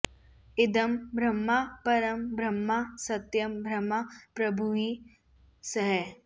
इदं ब्रह्म परं ब्रह्म सत्यं ब्रह्म प्रभुर्हि सः